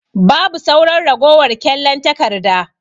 Babu sauran ragowar kyallen takarda.